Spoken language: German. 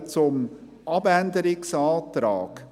Ich komme zum Abänderungsantrag: